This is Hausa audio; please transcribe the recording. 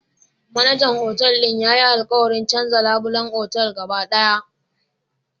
Manajan Otal din yayi alkawarin canza labulen otal gaba daya